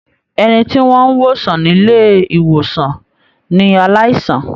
Ẹni tí wọ́n n wosan nilé-ìwòsàn ní aláìsàn.